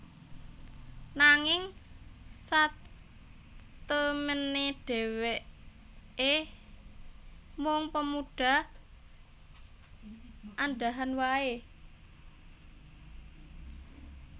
Nanging satemené dhèwèké mung pemudha andhahan waé